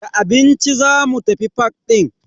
Da abinci zamu tafi fak din.